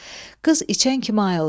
Qız içən kimi ayıldı.